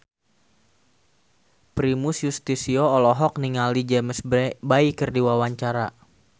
Primus Yustisio olohok ningali James Bay keur diwawancara